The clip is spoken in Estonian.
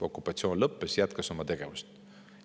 Okupatsioon lõppes ja riik jätkas oma tegevust.